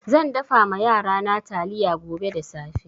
Zan dafa ma yarana taliya gobe da safe.